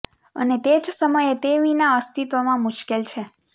અને તે જ સમયે તે વિના અસ્તિત્વમાં મુશ્કેલ છે